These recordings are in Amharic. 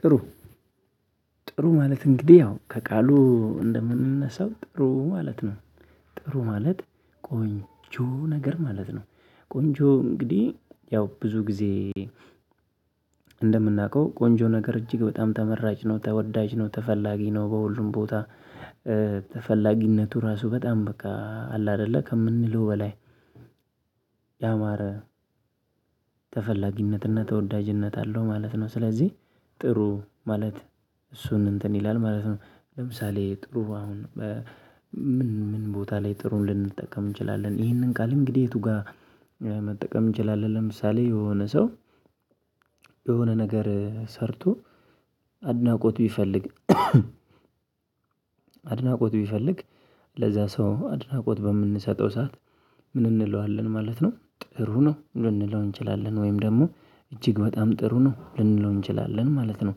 ጥሩ። ጥሩ ማለት እንግዲህ ያው ከቃሉ እንደምንነሳው ጥሩ ማለት ነው። ጥሩ ማለት ቆንጆ ነገር ማለት ነው። ቆንጆ እንግዲህ ያው ብዙ ጊዜ። እንደምናውቀው ቆንጆ ነገር እጅግ በጣም ተመራጭ ነው ተወዳጅ ነው ተፈላጊ ነው በሁሉም ቦታ ተፈላጊነቱ ራሱ በጣም በቃ አለ አይደለ ከምንለው በላይ። ያማረ ተፈላጊነትነት ተወዳጅነት አለው ማለት ነው። ስለዚህ ጥሩ ማለት እሱን እንትን ይላል ማለት ነው። ለምሳሌ ጥሩ አሁን ምን ምን ቦታ ላይ ጥሩን ልንጠቀም እንችላለን ይህንን ቃል እንግዲህ የቱ ጋር መጠቀም እንችላለን? ለምሳሌ የሆነ ሰው የሆነ ነገር ሰርቶ አድናቆት ቢፈልግ። አድናቆት ቢፈልግ ለዛ ሰው አድናቆት በምንሰጠው ሰዓት ምን እንለዋለን ማለት ነው? ጥሩ ነው ልንለው እንችላለን ወይም ደግሞ እጅግ በጣም ጥሩ ነው ልንለው እንችላለን ማለት ነው።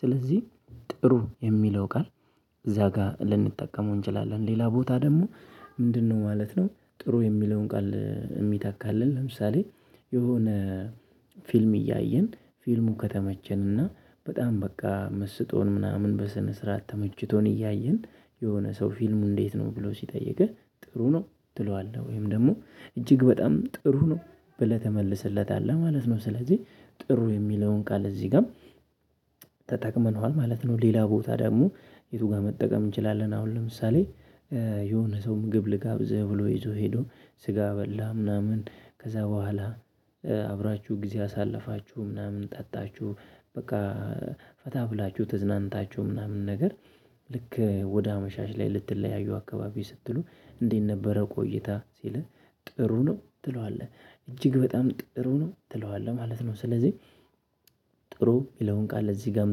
ስለዚህ ጥሩ የሚለው ቃል እዛ ጋር ልንጠቀመው እንችላለን ሌላ ቦታ ደግሞ ምንድነው ማለት ነው? ጥሩ የሚለውን ቃል የሚታካልን ለምሳሌ የሆነ ፊልም እያየን ፊልሙ ከተመቸንና በጣም በቃ መስጦን ምናምን በስነ ስርዓት ተመችቶን እያየን የሆነ ሰው ፊልሙ እንዴት ነው ብሎ ሲጠየቅህ ጥሩ ነው። ትለዋለህ ወይም ደግሞ እጅግ በጣም ጥሩ ነው ብለህ ተመልስለታለህ ማለት ነው። ስለዚህ ጥሩ የሚለውን ቃል እዚህ ጋር ተጠቅመነዋል ማለት ነው። ሌላ ቦታ ደግሞ የቱ ጋር መጠቀም እንችላለን? አሁን ለምሳሌ የሆነ ሰው ምግብ ግብ ልጋብዝ ብሎ ይዞ ሄዶ ስጋ አበላህ ምናምን ከዛ በኋላ አብራችሁ ጊዜ አሳለፋችሁ ምናምን ጠጣችሁ በቃ ፈታ ብላችሁ ተዝናንታችሁ ምናምን ነገር ልክ ወደ አመሻሽ ላይ ልትለያዩ አካባቢ ስትሉ እንዴት ነበረ ቆይታ ሲልህ ጥሩ ነው ትለዋለህ እጅግ በጣም ጥሩ ነው ትለዋለህ ማለት ነው። ስለዚህ ጥሩ የሚለውን ቃል እዚህ ጋርም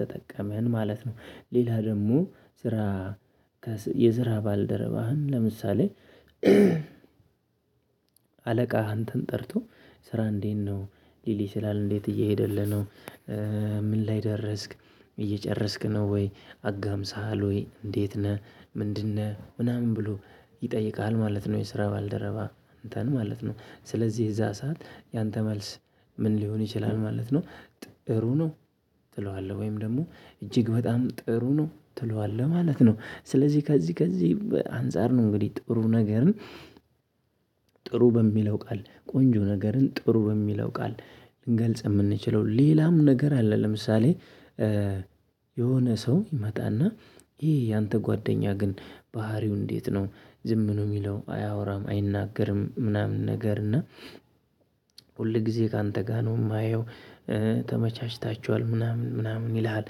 ተጠቀምን ማለት ነው። ሌላ ደግሞ ስራ የስራ ባልደረባህን ለምሳሌ አለቃህ አንተን ጠርቶ ስራ እንዴት ነው ሊል ይችላል እንዴት እየሄደልህ ነው? ምን ላይ ደረስክ እየጨረስክ ነው ወይ አጋምሳህል ወይ እንዴት ነህ ምንድን ነህ ምናምን ብሎ ይጠይቅሃል ማለት ነው። የስራ ባልደረባህ አንተን ማለት ነው ስለዚህ የዛ ሰዓት ያንተ መልስ ምን ሊሆን ይችላል ማለት ነው? ጥሩ ነው ትለዋለህ ወይም ደግሞ እጅግ በጣም ጥሩ ነው ትለዋለህ ማለት ነው። ስለዚህ ከዚህ ከዚህ አንፃር ነው እንግዲህ ጥሩ ነገርን ጥሩ በሚለው ቃል ቆንጆ ነገርን ጥሩ በሚለው ቃል ልንገልጽ የምንችለው ሌላም ነገር አለ። ለምሳሌ የሆነ ሰው ይመጣና ይሄ ያንተ ጓደኛ ግን ባህሪው እንዴት ነው ዝም ነው የሚለው አያወራም አይናገርም ምናምን ነገር እና ሁል ጊዜ ካንተ ጋር ነው የማየው ተመቻችታችኋል ምናምን ምናምን ይልሃል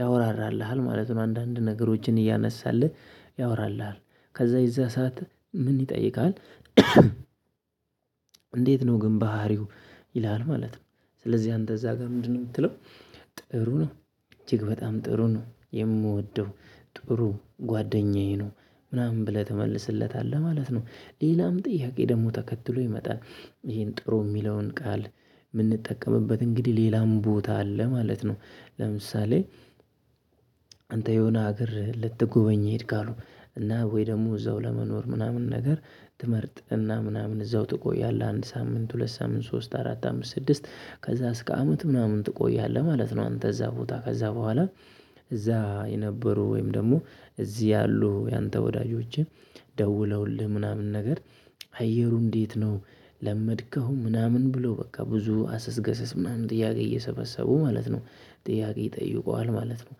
ያወራራልሃል ማለት ነው። አንዳንድ ነገሮችን እያነሳልህ ያወራልሃል ከዛ የዛ ሰዓት ምን ይጠይቃል? እንዴት ነው ግን ባህሪው ይላል ማለት ነው። ስለዚህ አንተ እዛ ጋር ምንድነው የምትለው? ጥሩ ነው እጅግ በጣም ጥሩ ነው የምወደው ጥሩ ጓደኛዬ ነው ምናምን ብለህ ትመልስለታለህ ማለት ነው። ሌላም ጥያቄ ደግሞ ተከትሎ ይመጣል ይሄን ጥሩ የሚለውን ቃል የምንጠቀምበት እንግዲህ ሌላም ቦታ አለ ማለት ነው። ለምሳሌ አንተ የሆነ ሀገር ልትጎበኝ ሄድ አሉ እና ወይ ደግሞ እዛው ለመኖር ምናምን ነገር ትመርጥና ምናምን እዛው ትቆያለህ አንድ ሳምንት ሁለት ሳምንት ሶስት አራት አምስት ስድስት ከዛ እስከ አመት ምናምን ትቆያለህ ማለት ነው። አንተ እዛ ቦታ ከዛ በኋላ እዛ የነበሩ ወይም ደግሞ እዚህ ያሉ ያንተ ወዳጆችህ ደውለውልህ ምናምን ነገር አየሩ እንዴት ነው? ለመድከው ምናምን ብሎ በቃ ብዙ አሰስገሰስ ምናምን ጥያቄ እየሰበሰቡ ማለት ነው። ጥያቄ ይጠይቁሃል ማለት ነው።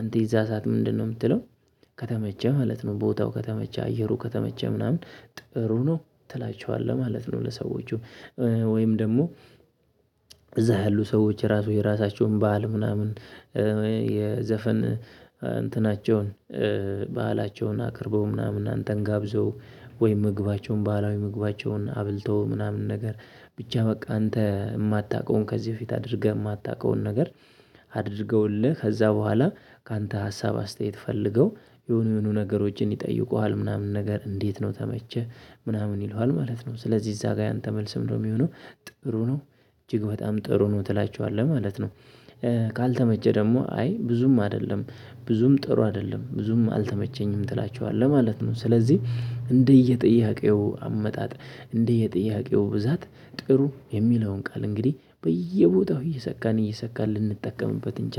አንተ የዛ ሰዓት ምንድነው የምትለው? ከተመቸህ ማለት ነው ቦታው ከተመቸህ አየሩ ከተመቸህ ምናምን ጥሩ ነው ትላቸዋለህ ማለት ነው። ለሰዎቹ ወይም ደግሞ እዛ ያሉ ሰዎች ራሱ የራሳቸውን ባህል ምናምን የዘፈን እንትናቸውን ባህላቸውን አቅርበው ምናምን አንተን ጋብዘው ወይ ምግባቸውን ባህላዊ ምግባቸውን አብልተው ምናምን ነገር ብቻ በቃ አንተ የማታውቀውን ከዚህ በፊት አድርገህ የማታውቀውን ነገር። አድርገውልህ ከዛ በኋላ ካንተ ሀሳብ አስተያየት ፈልገው የሆኑ የሆኑ ነገሮችን ይጠይቁሃል ምናምን ነገር እንዴት ነው ተመቸህ ምናምን ይሉሃል ማለት ነው። ስለዚህ እዛ ጋር ያንተ መልስም ምንድነው የሚሆነው ጥሩ ነው። እጅግ በጣም ጥሩ ነው ትላቸዋለህ ማለት ነው። ካልተመቸህ ደግሞ አይ ብዙም አይደለም ብዙም ጥሩ አይደለም ብዙም አልተመቸኝም ትላቸዋለህ ማለት ነው። ስለዚህ እንደየጥያቄው አመጣጥ እንደየጥያቄው ብዛት ጥሩ የሚለውን ቃል እንግዲህ በየቦታው እየሰካን እየሰካን ልንጠቀምበት እንችላለን